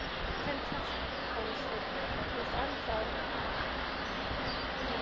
Karen Kjartansdóttir: Þú ert þá enn stórstjarna?